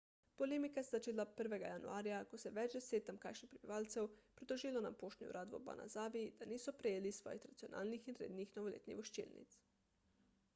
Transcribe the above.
polemika se je začela 1 januarja ko se je več deset tamkajšnjih prebivalcev pritožilo na poštni urad v obanazawi da niso prejeli svojih tradicionalnih in rednih novoletnih voščilnic